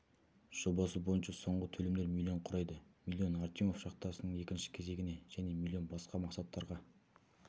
жобасы бойынша соңғы төлемдер миллион құрайды миллион артемьев шахтасының екінші кезегіне және миллион басқа мақсаттарға